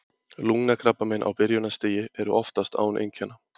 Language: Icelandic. Lungnakrabbamein á byrjunarstigi eru oftast án einkenna.